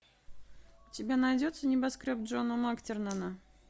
у тебя найдется небоскреб джона мактернана